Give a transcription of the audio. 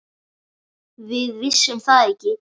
Við vissum það ekki.